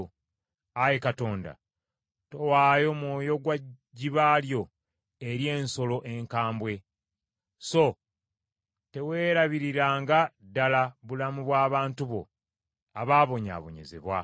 Ayi Katonda, towaayo mwoyo gwa jjiba lyo eri ensolo enkambwe; so teweerabiriranga ddala bulamu bw’abantu bo ababonyaabonyezebwa.